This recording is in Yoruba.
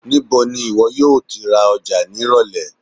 Nibo ni iwọ yoo ra Oja ni irọlẹ?